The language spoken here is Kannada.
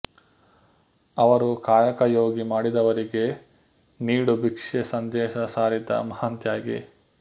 ಅವರು ಕಾಯಕಯೋಗಿ ಮಾಡಿದವರಿಗೆ ನೀಡು ಬಿಕ್ಷೆ ಸಂದೇಶ ಸಾರಿದ ಮಹಾನ್ ತ್ಯಾಗಿ